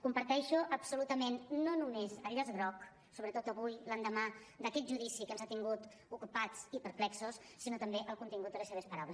comparteixo absolutament no només el llaç groc sobretot avui l’endemà d’aquest judici que ens ha tingut ocupats i perplexos sinó també el contingut de les seves paraules